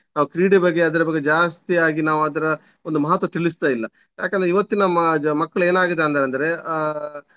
ನಾವು ಕ್ರೀಡೆ ಬಗ್ಗೆ ಅದ್ರ ಬಗ್ಗೆ ಜಾಸ್ತಿಯಾಗಿ ನಾವು ಅದ್ರ ಒಂದು ಮಹತ್ವ ತಿಳಿಸ್ತಾ ಇಲ್ಲ. ಯಾಕಂದ್ರೆ ಇವತ್ತಿನ ಮ~ ಮಕ್ಳು ಏನಾಗಿದಾರಂದ್ರೆ ಅಹ್.